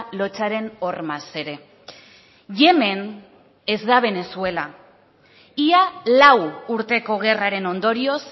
lotsaren hormaz ere yemen ez da venezuela ia lau urteko gerraren ondorioz